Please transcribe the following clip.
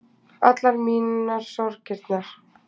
Allar mínar sorgirnar